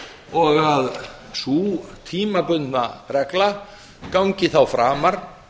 og að sú tímabundna regla gangi þá framar